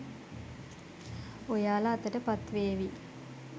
ඔයාලා අතට පත් වේවි.